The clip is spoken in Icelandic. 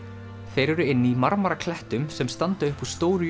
þeir eru inni í sem standa upp úr stóru